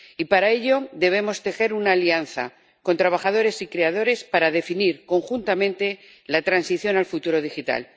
Y, para ello, debemos tejer una alianza con trabajadores y creadores para definir conjuntamente la transición al futuro digital.